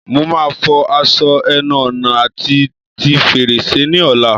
Mo máa fọ aṣọ ẹnu ọ̀nà àti ti fèrèsé ni ọ̀la